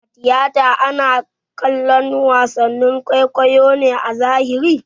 A tiyata ana kallon wason kwaikwayo ne a zahiri